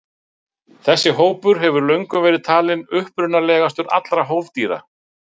Þessi hópur hefur löngum verið talinn upprunalegastur allra hófdýra.